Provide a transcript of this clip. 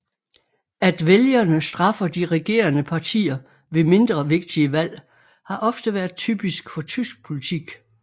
At vælgerne straffer de regerende partier ved mindre vigtige valg har ofte været typisk for tysk politik